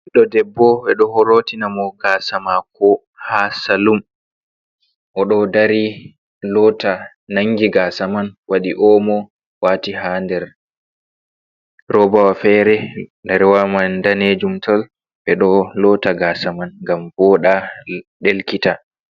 Ɓiɗɗo debbo, ɓe ɗo lootina mo gaasa maako haa salun. Oɗo dari loota nangi gaasa man, waɗi omo waati haa nder roba wa feere. Roba wa man daneejum tal. Ɓe ɗo loota gaasa man ngam voɗa, ɗelkita.